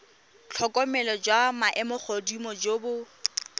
tlhokomelo jwa maemogodimo jo bo